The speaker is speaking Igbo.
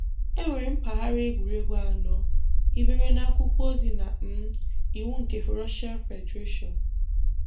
Enwere mpaghara egwuregwu anọ hibere na akwụkwọ ozi na um iwu nke Russian Federation.